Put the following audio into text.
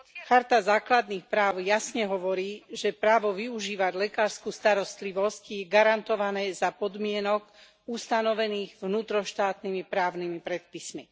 Karta základných práv jasne hovorí, že právo využívať lekársku starostlivosť je garantované za podmienok ustanovených vnútroštátnymi právnymi predpismi.